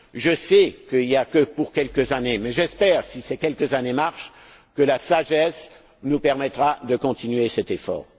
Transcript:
Je sais qu'il n'y en a que pour quelques années, mais j'espère que, si ces quelques années marchent, la sagesse nous permettra de continuer cet effort.